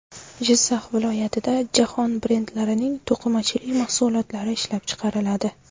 Jizzax viloyatida jahon brendlarining to‘qimachilik mahsulotlari ishlab chiqariladi!.